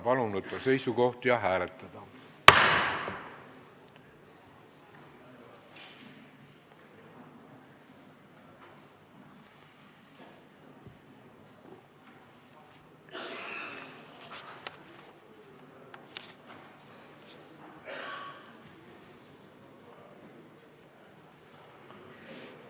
Palun võtta seisukoht ja hääletada!